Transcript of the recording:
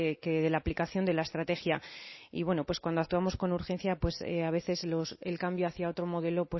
que de la aplicación de la estrategia y bueno pues cuando actuamos con urgencia pues a veces el cambio hacia otro modelo